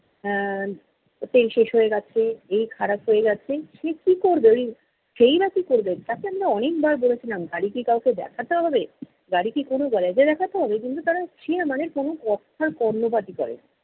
এর তেল শেষ হয়ে গেছে, এই খারাপ হয়ে গেছে, সে কী করবে? ঐ সে-ই বা কী করবে? তাকে আমরা অনেকবার বলেছিলাম গাড়ি কি কাউকে দেখাতে হবে? গাড়ি কি কোনো garage এ দেখাতে হবে? কিন্তু তারা সে মানে কোনো কথার কর্ণপাতই করেনি।